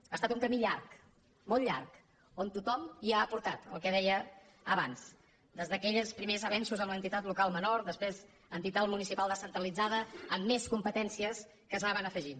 ha estat un camí llarg molt llarg on tothom hi ha aportat el que deia abans des d’aquells primers avenços amb l’entitat local menor després entitat municipal descentralitzada amb més competències que s’anaven afegint